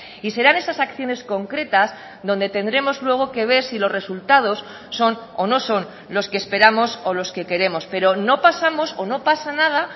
y serán esas acciones concretas donde tendremos luego que ver si los resultados son o no son los que esperamos o los que queremos pero no pasamos o no pasa nada